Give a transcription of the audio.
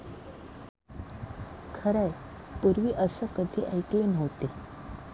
खरंय, पुर्वी असं कधी ऐकले नव्हते.